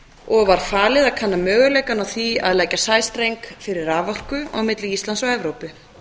og var falið að kanna möguleikann á því að leggja sæstreng fyrir raforku á milli íslands og evrópu